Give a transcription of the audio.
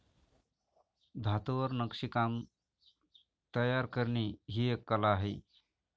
धातूवर नक्षीकाम तायर करणे ही एक कला आहे.